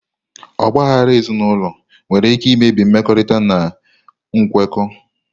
Ọgba aghara ezinụlọ nwere ike imebi mmekọrịta na nkwekọ.